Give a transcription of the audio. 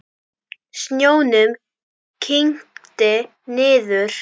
Snjónum kyngdi niður.